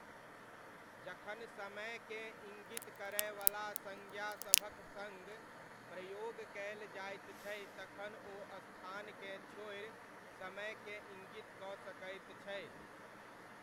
जखन समयकेँ इङ्गित करयवला सङ्ज्ञासभक सङ्ग प्रयोग कयल जाइत छै तखन ओ स्थानकेँ छोड़ि समयकेँ इङ्गित कऽ सकैत छै।